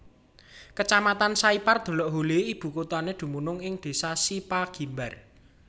Kecamatan Saipar Dolok Hole ibukuthane dumunung ing Desa Sipagimbar